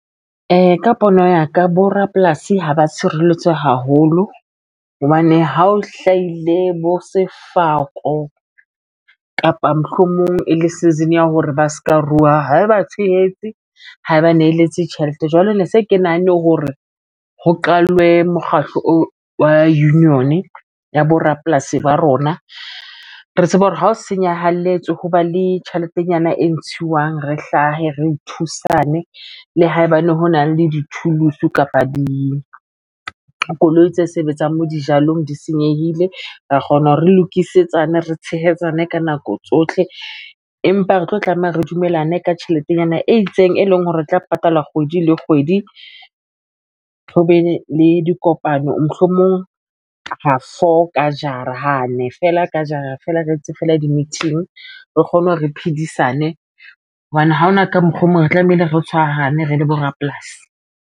Ka pono ya ka bo rapolasi haba tshireletswe haholo hobane ha o hlahile bo sefako kapa mohlomong e le season ya hore ba ska ruwa haeba tshehetse haeba neletse tjhelete jwale ne se ke nahanne hore ho qalwe mokgatlo o wa union ya borapolasi ba rona. Re tseba hore ha o senyahalletswe ho ba le tjheletenyana e ntshuwang, re hlahe, re thusane le haebane ho na le dithuso kapa di koloi tse sebetsang moo dijalong di senyehile ra kgona hore re lokisetsane re tshehetsana ka nako tsohle, empa re tlo tlameha re dumelane ka tjheletenyana e itseng e leng hore e tla patalwa kgwedi le kgwedi. Ho be le dikopano mohlomong ha four ka jara ha nnene feela ka jara feela re etse fela di meeting re kgone re phedisane hobane ha hona ka mokgwa o mong re tlamehile re tshwarahane re le bo rapolasi.